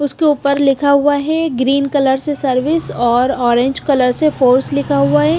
उसके ऊपर लिखा हुआ है ग्रीन कलर से सर्विस और ऑरेंज कलर से फोर्स लिखा हुआ है।